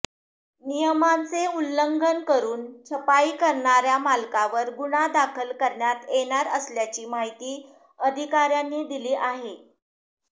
नियमांचे उल्लंघन करून छपाई करणार्या मालकावर गुन्हा दाखल करण्यात येणार असल्याची माहिती अधिकार्यांनी दिली आहे